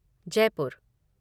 Jaipur